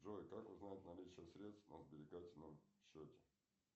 джой как узнать наличие средств на сберегательном счете